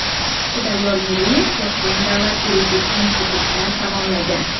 Xudayor Meliyev Toshkent davlat yuridik institutini tamomlagan.